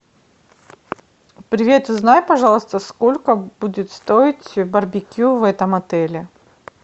привет узнай пожалуйста сколько будет стоить барбекю в этом отеле